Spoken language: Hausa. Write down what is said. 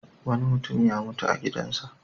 Wani mutum ya mutu a gidansa.